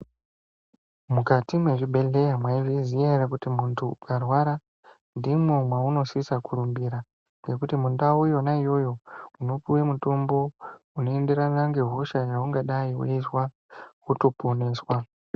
Mukati mwezvibhehleya maizviziya ere kuti mundu ukarwara ndimo maunosisa kurumbira ngekuti mundau yona iyoyo unopuwa mutumbo unoenderana ngehosha yeungadai weizwa wotiponeswa.